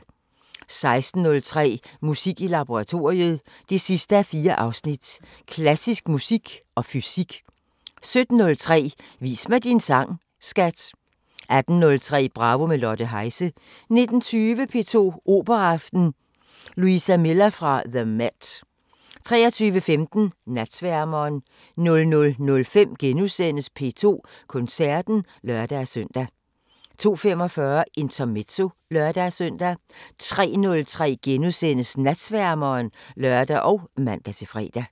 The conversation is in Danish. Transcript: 16:03: Musik i laboratoriet 4:4 – Klassisk musik og fysik 17:03: Vis mig din sang, skat! 18:03: Bravo – med Lotte Heise 19:20: P2 Operaaften: Luisa Miller fra the MET 23:15: Natsværmeren 00:05: P2 Koncerten *(lør-søn) 02:45: Intermezzo (lør-søn) 03:03: Natsværmeren *(lør og man-fre)